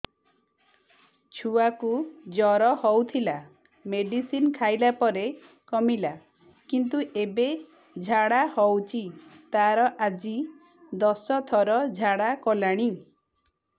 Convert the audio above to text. ଛୁଆ କୁ ଜର ହଉଥିଲା ମେଡିସିନ ଖାଇଲା ପରେ କମିଲା କିନ୍ତୁ ଏବେ ଝାଡା ହଉଚି ତାର ଆଜି ଦଶ ଥର ଝାଡା କଲାଣି